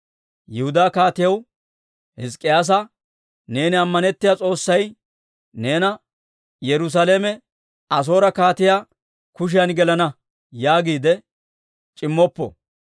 «Yihudaa Kaatiyaa Hizk'k'iyaasaa, neeni ammanettiyaa S'oossay neena, ‹Yerusaalame Asoore kaatiyaa kushiyan gelenna› yaagiide c'immoppo.